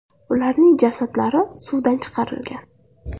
Ularning jasadlari suvdan chiqarilgan.